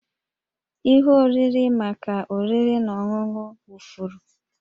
Ihe oriri maka oriri na ọṅụṅụ wụfuru